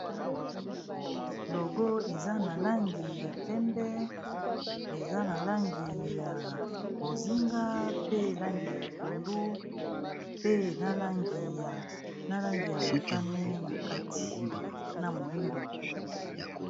Logo eza na langi ya pembe, eza na langi ya bozinga, pe langi ya pondu, pe na langi ya motane na kati, na moyindo.